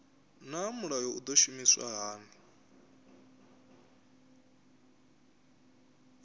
naa mulayo u do shumiswa hani